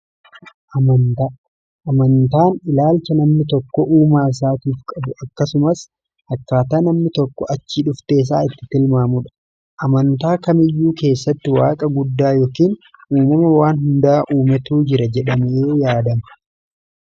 Amantaan ilaalcha namni tokko uumaa isaa tiif qabu akkasumaas akkaataa namni tokko achii dhufteessaa itti tilmaamudha . amantaa kamiyyuu keessatti waaqa guddaa yookiin uumama waan hundaa uumetuu jira jedhamii yaadama.